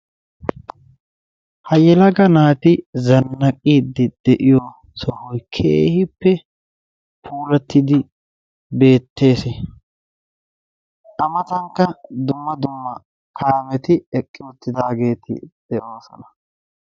Ha yelaga naati zannaqiiddi de'iyo sohoy keehippe puulattidi beettees. A matankka dumma dumma kaameti eqqi uttidaageeti de'oosona.